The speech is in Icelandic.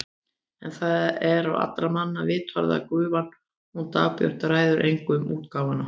En það er á allra manna vitorði að gufan hún Dagbjört ræður engu um útgáfuna.